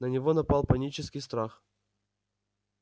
на него напал панический страх